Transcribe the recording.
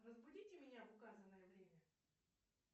разбудите меня в указанное время